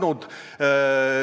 Karin Tammemägi, palun!